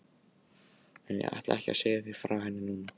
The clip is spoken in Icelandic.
En ég ætla ekki að segja þér frá henni núna.